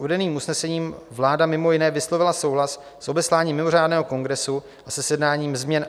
Uvedenými usneseními vláda mimo jiné vyslovila souhlas s obesláním mimořádného kongresu a se sjednáním změn